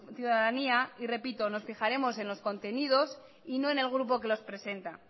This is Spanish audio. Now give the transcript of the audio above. ciudadanía y repito nos fijaremos en los contenidos y no en el grupo que los presenta